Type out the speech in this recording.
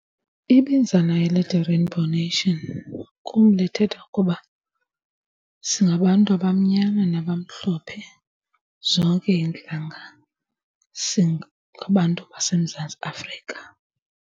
Ibinzana elithi Rainbow Nation kum lithetha ukuba singabantu abamnyama nabamhlophe, zonke iintlanga singabantu baseMzantsi Afrika.